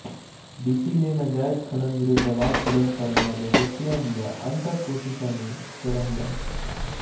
DC ਨੇ ਨਾਜਾਇਜ਼ ਖਣਨ ਵਿਰੁੱਧ ਆਵਾਜ਼ ਬੁਲੰਦ ਕਰਨ ਵਾਲੇ ਵਿਅਕਤੀਆਂ ਦੀਆਂ ਅਣਥੱਕ ਕੋਸ਼ਿਸ਼ਾਂ ਨੂੰ ਸਰਾਹਿਆ